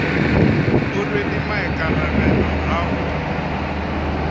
o rwele maikarabelo a go